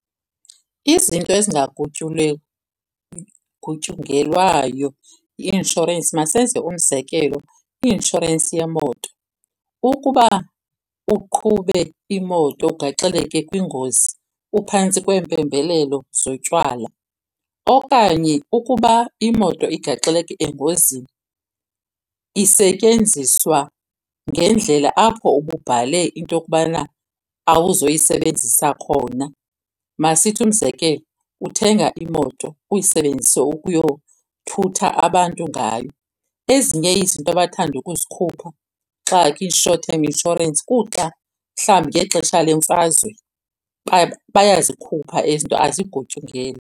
Izinto yi-inshorensi. Masenze umzekelo, kwi-inshorensi yemoto. Ukuba uqhube imoto ugaxeleke kwingozi uphantsi kweempembelelo zotywala, okanye ukuba imoto igaxeleke engozini isetyenziswa ngendlela apho ububhale into yokubana awuzoyisebenzisa khona. Masithi umzekelo uthenga imoto uyisebenzise ukuyothutha abantu ngayo, ezinye izinto abathanda ukuzikhupha xa ukwi-short term insurance kuxa mhlawumbi ngexesha lemfazwe, bayazikhupha ezi zinto azigutyungelwa.